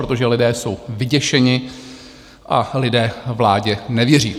Protože lidé jsou vyděšeni a lidé vládě nevěří.